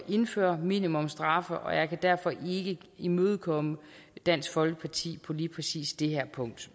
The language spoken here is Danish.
indføre minimumsstraffe og jeg kan derfor ikke imødekomme dansk folkeparti på lige præcis det her punkt